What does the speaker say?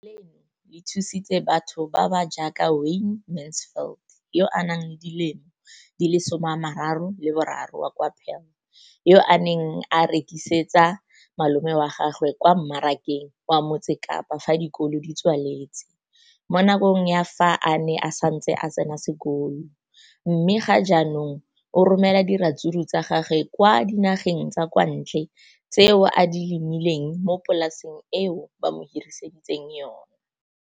Leno le thusitse batho ba ba jaaka Wayne Mansfield, 33, wa kwa Paarl, yo a neng a rekisetsa malomagwe kwa Marakeng wa Motsekapa fa dikolo di tswaletse, mo nakong ya fa a ne a santse a tsena sekolo, mme ga jaanong o romela diratsuru tsa gagwe kwa dinageng tsa kwa ntle tseo a di lemileng mo polaseng eo ba mo hiriseditseng yona.